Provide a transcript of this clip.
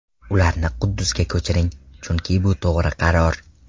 Ularni Quddusga ko‘chiring, chunki bu to‘g‘ri qaror.